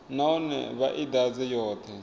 nahone vha i ḓadze yoṱhe